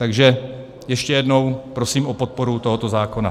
Takže ještě jednou, prosím o podporu tohoto zákona.